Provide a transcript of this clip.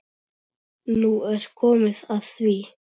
Nú er komið að því.